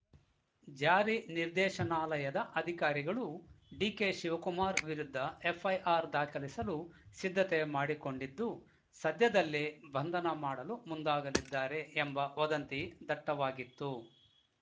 ಜಾರಿ ನಿರ್ದೇಶನಾಲಯದ ಅಧಿಕಾರಿಗಳು ಡಿಕೆ ಶಿವಕುಮಾರ್‌ ವಿರುದ್ಧ ಎಫ್‌ಐಆರ್‌ ದಾಖಲಿಸಲು ಸಿದ್ಧತೆ ಮಾಡಿಕೊಂಡಿದ್ದು ಸದ್ಯದಲ್ಲೇ ಬಂಧನ ಮಾಡಲು ಮುಂದಾಗಲಿದ್ದಾರೆ ಎಂಬ ವದಂತಿ ದಟ್ಟವಾಗಿತ್ತು